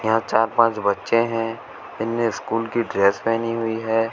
यहां चार पांच बच्चे हैं इन्हें स्कूल की ड्रेस पहनी हुई है।